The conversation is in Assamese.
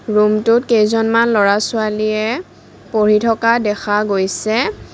ৰমটোত কেইজন ল'ৰা ছোৱালীয়ে পঢ়ি থকা দেখা গৈছে।